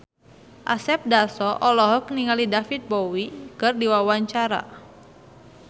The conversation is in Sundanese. Asep Darso olohok ningali David Bowie keur diwawancara